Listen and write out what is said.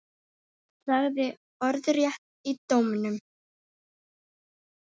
Sagði orðrétt í dómnum